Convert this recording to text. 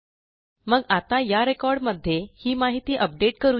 मग आता या रेकॉर्ड मध्ये ही माहिती अपडेट करू या